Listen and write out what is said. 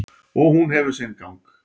Og hún hefur sinn gang.